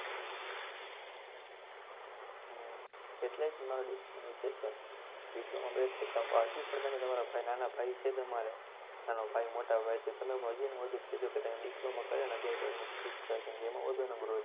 હમ એટલે જ મારો diploma નો વિચાર છે, diploma best છે, હજુ પણ કોઈ તમારા નાના ભાઈ છે, તમારા નાના ભાઈ મોટા ભાઈ તો તમે વધુ માં વધુ કેજો કે તમે diploma કરો અને આગિયાર બાર skip કરો કેમકે આમાં વધુ growth છે.